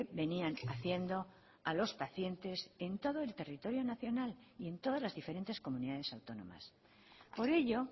venían haciendo a los pacientes en todo el territorio nacional y en todas las diferentes comunidades autónomas por ello